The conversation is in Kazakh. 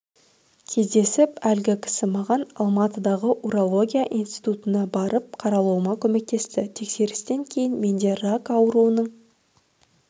кездесіп әлгі кісі маған алматыдағы урология институтына барып қаралуыма көмектесті тексерістен кейін менде рак ауруының